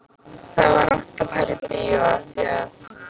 Það var rangt að fara í bíó af því að